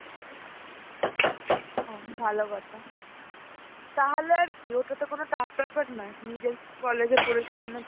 ও ভালো কথা, তাহলে আর কি ওটা তো কোন tough ব্যাপার নয় নিজের college এ পড়েছে মানে.